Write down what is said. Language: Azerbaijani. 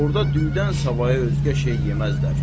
Orda düydən savayı özgə şey yeməzlər.